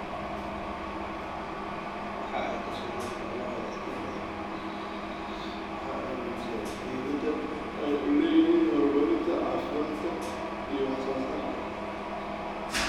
Waxa ay ka sheegaan xoolahooda inta badan waxa ay muujinayaan muhiimadda ay u leeyihiin horumarinta caafimaadka iyo wax soo saarka.